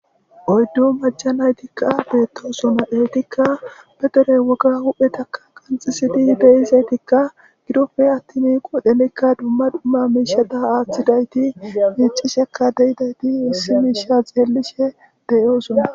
Oyddu macca naytikka beettoosona .Eetikka be dere woga huuphetakka qanxxisidi de7izaytikka gidoppe attin qoodhenikka dumma dumma miishati aathidayti miiccishekka de7idayti issi miisha xeellishe de7oosona.